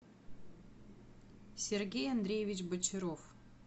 сергей андреевич бочаров